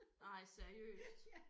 Ej seriøst